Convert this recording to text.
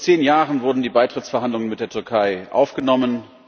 Vor zehn Jahren wurden die Beitrittsverhandlungen mit der Türkei aufgenommen.